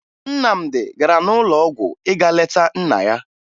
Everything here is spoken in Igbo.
Nnamdi gara n'ụlọ ọgwụ ịga leta nna ya